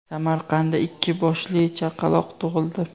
Samarqandda ikki boshli chaqaloq tug‘ildi.